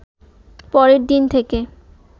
পরের দিন থেকে